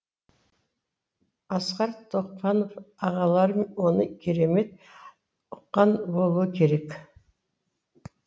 асқар тоқпанов ағалары оны керемет ұққан болуы керек